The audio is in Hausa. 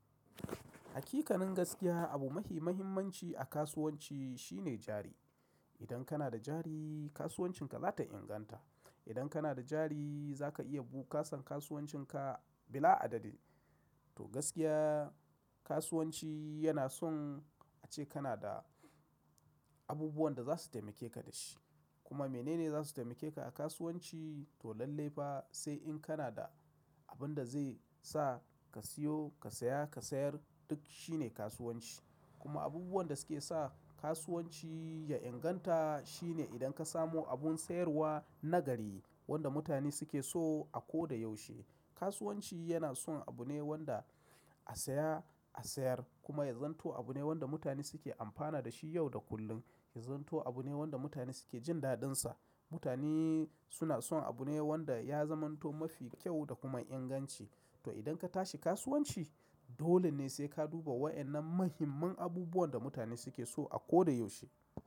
Hakikanin gaskiya abu mahimmanci a kasuwanci shine jari. Idan kana da jari kasuwancinka za ta inganta. Idan kana da jari za ka iya buƙasan kasuwancinka bila adadi. To gaskiya kasuwanci yana son ace kana da abubuwan da za su taimake ka da shi. Kuma menene za su taimake ka a kasuwanci? To lallai fa sai in kana da abin da zai sa ka siyo, ka saya, ka sayar duk shine kasuwanci. Kuma abubuwan da suke sa kasuwanci ya inganta shine idan ka samu abun sayarwa na gari wanda mutane suke so a ko da yaushe. Kasuwanci yana son abu ne wanda a saya, a sayar kuma ya zanto abu ne wanda mutane suke amfana da shi yau da kullum. Ya zamto abu ne wanda mutane suke jin dadin sa. Mutane suna son abu ne wanda ya zamanto mafi kyau da kuma inganci. To idan ka tashi kasuwanci dole ne sai ka duba waɗannan muhimman abubuwan da mutane suke so a ko da yaushe.